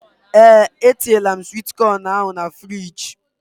Ee etinyela m swit con ahụ na fruidge.